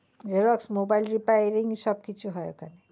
Xerox mobile repairing সব কিছু হয়।